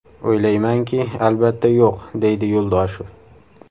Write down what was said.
O‘ylaymanki, albatta, yo‘q”, deydi Yo‘ldoshev.